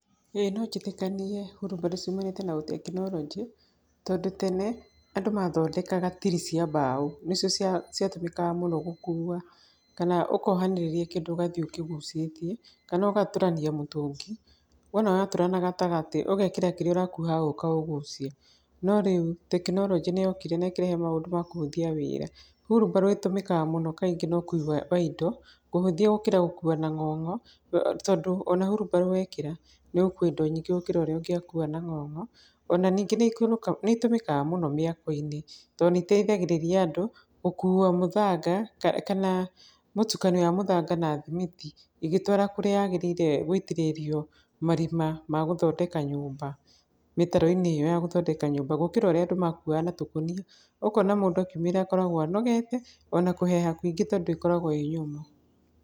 Ĩĩ no njĩtĩkanie wheelbarrow ciumanĩte na ũtekinoronjĩ tondũ tene andũ mathondekaga tiri cia mbao, nĩcio ciatũmĩkaga mũno gũkua kana ũkohanĩrĩria kĩndũ ũgathiĩ ũkĩgucĩtie kana ũgatũrania mũtũngi, wona watũra na gatagatĩ ũgekĩra kĩrĩa ũrakua ũkaũgucia. No rĩu tekinoronjĩ nĩyokire na ĩkĩrehe maũdũ ma kũhũthia wĩra. Wheelbarrow ĩtũmĩkga mũno kaingĩ na ũkui wa indo, kũhũthia gũkĩra gũkua na ng'ong'o, tondũ ona wheelbarrow wekĩra nĩũgũkua indo nyingĩ gũkĩra ũrĩa ũngĩakua na ng'ong'o. Ona ningĩ nĩitũmĩkaga mũno mĩako-inĩ, tondũ nĩiteithagĩrĩria andũ gũkua mũthanga kana mũtukanio wa mũthanga na thimiti ĩgĩtwara kũrĩa yagĩrĩire gũitĩrĩrio marima ma gũthondeka nyũmba mĩtaro-inĩ ĩyo a gũthondeka nyũmba gũkĩra ũrĩa andũ makuaga na tũkũnia ũkona mũndũ akiumĩra akoragwo anogete ona kũheha kũingĩ tondũ ĩkoragwo ĩ nyũmũ.